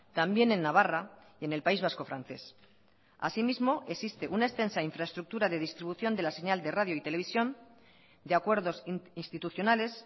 también en navarra y en el país vasco francés así mismo existe una extensa infraestructura de distribución de la señal de radio y televisión de acuerdos institucionales